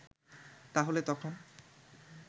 তাহলে তখন